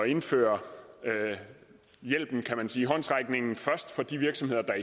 indføre hjælpen håndsrækningen først for de virksomheder der